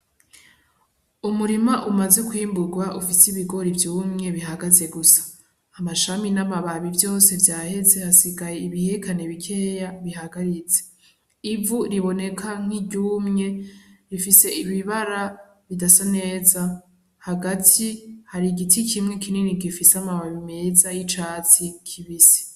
Umurima umaze kwimburwa ufise ibigori vyumye bihagaze gusa, amashami n'amababi vyose vyaheze hasigaye ibihekane bikeya bihagaritse, ivu riboneka nk'iryumye rifise ibibara bidasa neza, hagati hari igiti kimwe kinini gifise amababi meza y'icatsi kibisi.